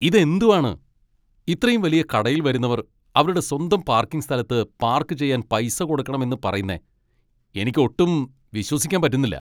ഇത് എന്തുവാണ്, ഇത്രയും വലിയ കടയിൽ വരുന്നവർ അവരുടെ സ്വന്തം പാർക്കിംഗ് സ്ഥലത്ത് പാർക്ക് ചെയ്യാൻ പൈസ കൊടുക്കണമെന്ന് പറയുന്നെ എനിക്ക് ഒട്ടും വിശ്വസിക്കാൻ പറ്റുന്നില്ല.